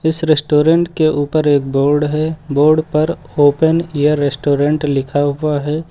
इस रेस्टोरेंट के ऊपर एक बोर्ड है बोर्ड पर ओपन ऐअर रेस्टोरेंट लिखा हुआ है।